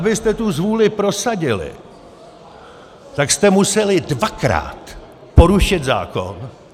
Abyste tu zvůli prosadili, tak jste museli dvakrát porušit zákon.